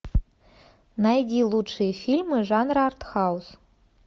найди лучшие фильмы жанра артхаус